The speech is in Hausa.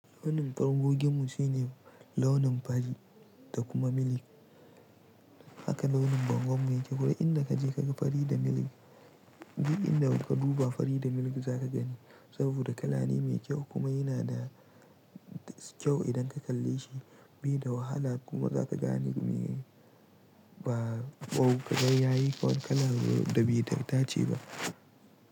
Launin bangogin mu shine launin fari da kuma milk haka launin bangon mu yake. Duk inda ka je ka ga fari da milk, duk inda ka duba fari da milk za ka gani. Saboda kala ne mai kyau kuma yana da kyau idan ka kalle shi bai da wahala kuma za ka gane me ba kaga yayi wani kala da bai dace ba.